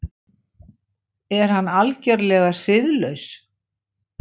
Er hann algerlega siðlaus?